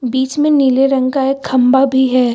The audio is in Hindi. बीच में नीले रंग का एक खंभा भी है।